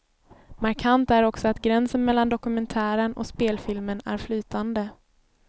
Markant är också att gränsen mellan dokumentären och spelfilmen är flytande.